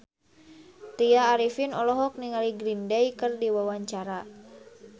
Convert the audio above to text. Tya Arifin olohok ningali Green Day keur diwawancara